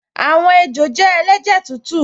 Àwọn ejò jẹ́ ẹlẹ́jẹ̀ tútù